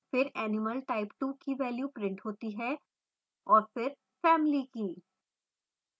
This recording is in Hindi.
फिर animal type2 की value printed होती है और फिर family की